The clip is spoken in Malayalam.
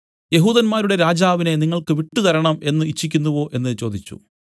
യെഹൂദന്മാരുടെ രാജാവിനെ നിങ്ങൾക്ക് വിട്ടുതരണം എന്നു ഇച്ഛിക്കുന്നുവോ എന്നു ചോദിച്ചു